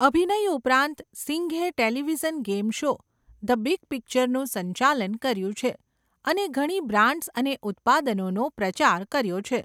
અભિનય ઉપરાંત, સિંઘે television game show, 'the big પિક્ચર'નું સંચાલન કર્યું છે અને ઘણી બ્રાન્ડ્સ અને ઉત્પાદનોનો પ્રચાર કર્યો છે.